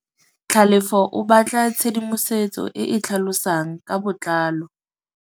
Tlhalefô o batla tshedimosetsô e e tlhalosang ka botlalô.